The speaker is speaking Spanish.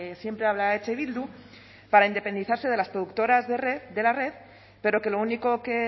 siempre habla eh bildu para independizarse de las productoras de la red pero que lo único que